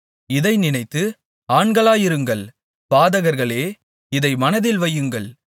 இதை நினைத்து ஆண்களாயிருங்கள் பாதகர்களே இதை மனதில் வையுங்கள்